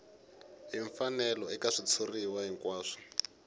hi mfanelo eka xitshuriwa hinkwaxo